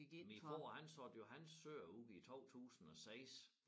Min far han solgte jo hans søer ude i 2006